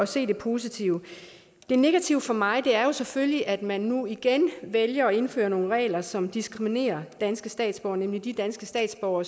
se det positive det negative for mig er selvfølgelig at man nu igen vælger at indføre nogle regler som diskriminerer danske statsborgere nemlig de danske statsborgere